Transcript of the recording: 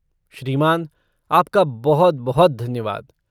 श्रीमान, आपका बहुत बहुत धन्यवाद!